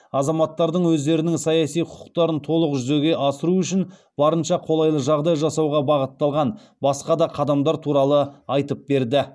азаматтардың өздерінің саяси құқықтарын толық жүзеге асыруы үшін барынша қолайлы жағдай жасауға бағытталған басқа да қадамдар туралы айтып берді